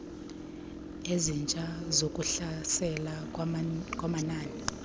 ezintsha zokuhlaselwa kwamanina